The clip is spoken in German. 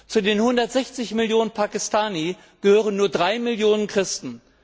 Zu den 160 Millionen Pakistani gehören nur drei Millionen Christen.